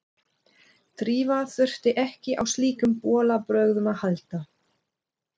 Drífa þurfti ekki á slíkum bolabrögðum að halda.